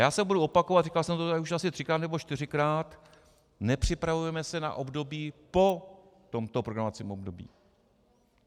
Já se budu opakovat, říkal jsem to tady asi už třikrát nebo čtyřikrát, nepřipravujeme se na období po tomto programovacím období.